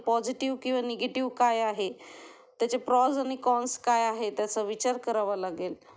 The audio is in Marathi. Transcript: पॉझिटिव्ह किंवा निगेटिव्ह काय आहे, त्याचे प्रॉस आणि कॉन्स काय आहेत ह्याचा विचार करावा लागेल